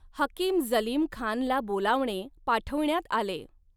हकीम जलीम खानला बोलावणे पाठविण्यात आले.